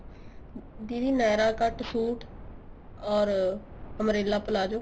ਦੀਦੀ nyra cut suit or umbrella palazzo